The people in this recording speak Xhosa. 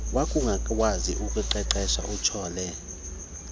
wakungakwazi ukuqeqesha utyhole